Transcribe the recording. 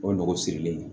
O nogo sirilen